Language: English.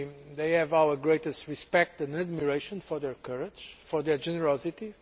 they have our greatest respect and admiration for their courage and their generosity.